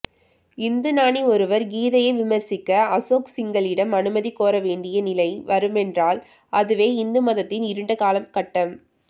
இந்துஞானி ஒருவர் கீதையை விமர்சிக்க அசோக் சிங்கலிடம் அனுமதி கோரவேண்டிய நிலை வருமென்றால் அதுவே இந்துமதத்தின் இருண்ட காலகட்டம்